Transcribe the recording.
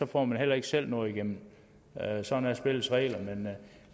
får man heller ikke selv noget igennem sådan er spillets regler